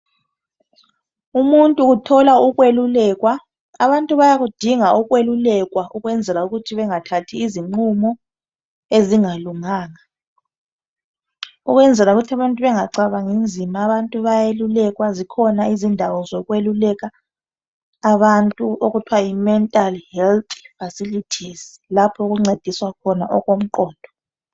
Umuntu uthola ukweluka abantu bayakudinga ukwelukekwa ukwenzela ukuthi bengathathi izingqumo ezingalunganga ukwenzela ukuthi abantu bengacabangi nzima zikhona izindawo zokweluleka abantu okuthiwa yimental health facilities lapho okungcediswa khona okumgqondo